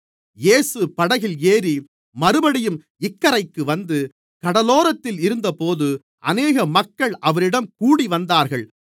இயேசு படகில் ஏறி மறுபடியும் இக்கரைக்கு வந்து கடலோரத்தில் இருந்தபோது அநேக மக்கள் அவரிடம் கூடிவந்தார்கள்